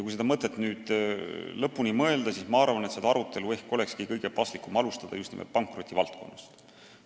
Kui see mõte lõpuni mõelda, siis minu arvates ehk ongi kõige paslikum alustada seda arutelu just nimelt pankrotivaldkonnast.